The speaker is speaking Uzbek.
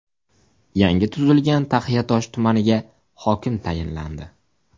Yangi tuzilgan Taxiatosh tumaniga hokim tayinlandi.